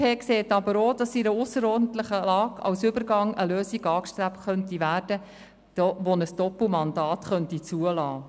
Die BDP sieht jedoch auch, dass in einer ausserordentlichen Lage als Übergang eine Lösung angestrebt werden könnte, die ein Doppelmandat zulässt.